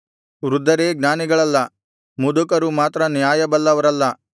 ವೃದ್ಧರೇ ಜ್ಞಾನಿಗಳಲ್ಲ ಮುದುಕರು ಮಾತ್ರ ನ್ಯಾಯ ಬಲ್ಲವರಲ್ಲ